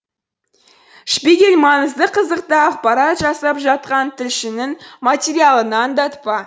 шпигель маңызды қызықты ақпарат жасап жатқан тілшінің материалына аңдатпа